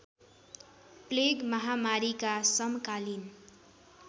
plague महामारीका समकालीन